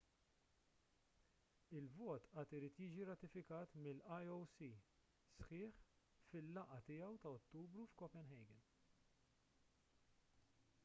il-vot għad irid jiġi rratifikat mill-ioc sħiħ fil-laqgħa tiegħu ta' ottubru f'copenhagen